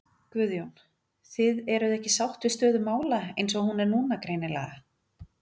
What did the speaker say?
Guðjón: Þið eruð ekki sátt við stöðu mála eins og hún er núna greinilega?